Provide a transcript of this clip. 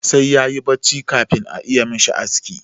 Sai ya yi bacci kafin a iya mishi aski.